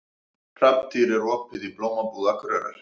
Hrafntýr, er opið í Blómabúð Akureyrar?